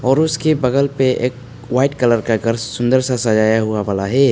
और उसके बगल पे एक वाइट कलर का घर सुंदर सा सजाया हुआ वाला है।